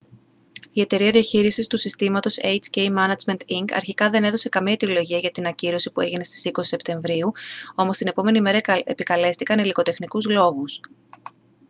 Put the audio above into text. η εταιρεία διαχείρισης του συγκροτήματος hk management inc αρχικά δεν έδωσε καμία αιτιολογία για την ακύρωση που έγινε στις 20 σεπτεμβρίου όμως την επόμενη μέρα επικαλέστηκαν υλικοτεχνικούς λόγους